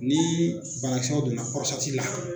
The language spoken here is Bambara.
Ni barakisɛw donna la.